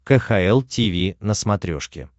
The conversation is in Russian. кхл тиви на смотрешке